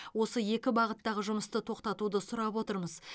осы екі бағыттағы жұмысты тоқтатуды сұрап отырмыз